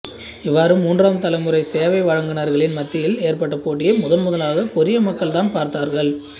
இவ்வாறு மூன்றாம் தலைமுறை சேவை வழங்குனர்களின் மத்தியில் ஏற்பட்ட போட்டியை முதன்முதலாக கொரிய மக்கள் தான் பார்த்தார்கள்